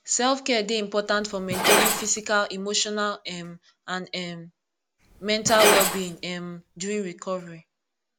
selfcare dey important for maintaining physical emotional um and um mental wellbeing um during recovery